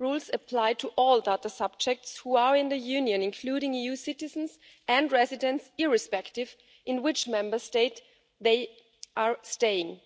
rules apply to all data subjects who are in the European Union, including EU citizens and residents irrespective of which Member State they are staying in.